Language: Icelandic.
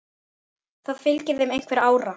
Það fylgir þeim einhver ára.